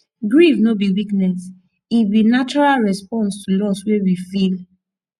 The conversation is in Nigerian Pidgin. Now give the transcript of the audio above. grief no be weakness e be natural response to loss wey we feel